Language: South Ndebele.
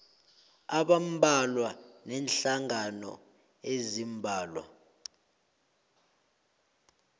abambalwa neenhlangano eziimbalwa